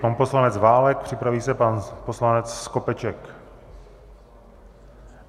Pan poslanec Válek, připraví se pan poslanec Skopeček.